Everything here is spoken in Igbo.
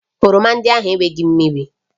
Oroma ndị ahụ enweghị mmiri